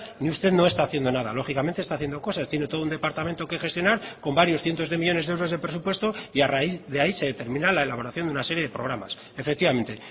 ni usted no está haciendo nada lógicamente está haciendo cosas tiene todo un departamento que gestionar con varios cientos de millónes de euros de presupuesto y a raíz de ahí se termina la elaboración de una serie de programas efectivamente